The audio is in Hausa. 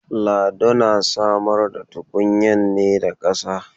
Lado na samar da tukunyar ne da kasa.